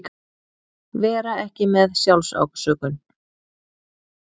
Vera ekki með SJÁLFSÁSÖKUN